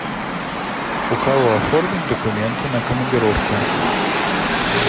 у кого оформить документы на командировку